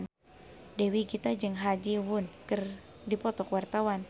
Dewi Gita jeung Ha Ji Won keur dipoto ku wartawan